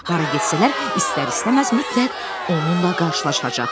Hara getsələr, istər-istəməz mütləq onunla qarşılaşacaqlar.